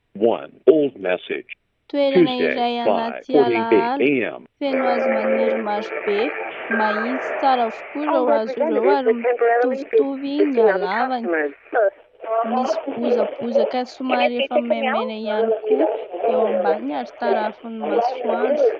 Toerana iray anaty alaala, feno hazo maniry marobe, mahitsy tsara avokoa ireo hazo ireo ary mitovitovy ny halavany, misy bozabozaka somary efa maimaina ihany koa eo ambaniny ary tarafin'ny masoandro.